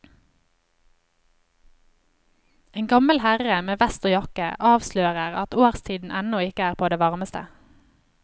En gammel herre med vest og jakke avslører at årstiden ennå ikke er på det varmeste.